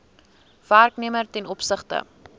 werknemer ten opsigte